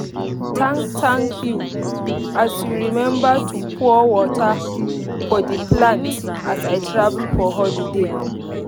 thank thank you as you remember to pour water for the plant as i travel for holiday.